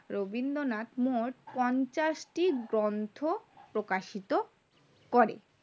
রবীন্দ্রনাথ মোট পঞ্চাশটি গ্রন্থ প্রকাশিত করে